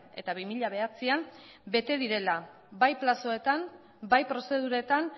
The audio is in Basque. eta bi mila bederatzian bete direla bai plazoetan bai prozeduretan